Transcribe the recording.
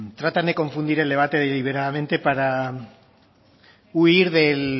tratan de confundir el debate deliberadamente para huir